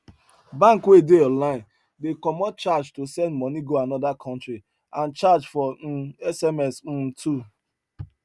bank wey dey online dey comot charge to send money go another country and charge for um sms um too